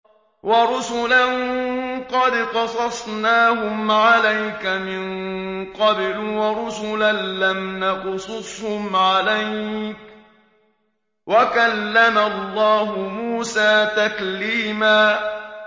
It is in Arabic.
وَرُسُلًا قَدْ قَصَصْنَاهُمْ عَلَيْكَ مِن قَبْلُ وَرُسُلًا لَّمْ نَقْصُصْهُمْ عَلَيْكَ ۚ وَكَلَّمَ اللَّهُ مُوسَىٰ تَكْلِيمًا